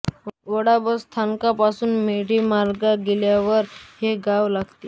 वाडा bus स्थानकापासून मेढे मार्गाने गेल्यावर हे गाव लागते